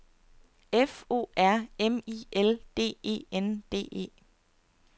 F O R M I L D E N D E